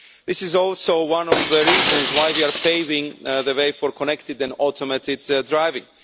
This is also one of the reasons why we are paving the way for connected and automated driving.